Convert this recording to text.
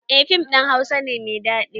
Eh fim ɗin hausa ne mai daɗi